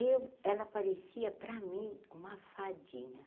Ela parecia, para mim, uma fadinha.